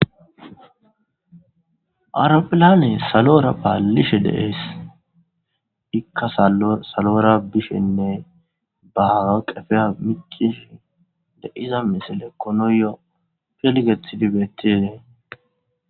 awuropilane salora paallishe deees ikka salora bishenne bahaga qefeya micishi deiza misile konoyo pelgethidi beettidee